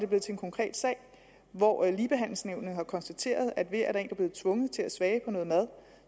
blevet til en konkret sag hvor ligebehandlingsnævnet har konstateret at ved at der er er blevet tvunget til at smage på noget mad